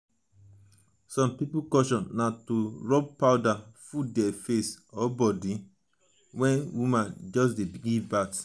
some pipo culture na to rub powder full their face or body or body when woman just give birth